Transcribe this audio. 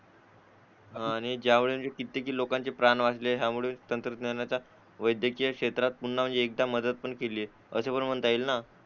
आणि ज्यावेळी किती लोकांचे प्राण वाचले त्यामुळे तंत्रज्ञानाचा वैद्यकीय क्षेत्रात पुन्हा एकदा मदत पण केली आहे असं पण म्हणता येईल ना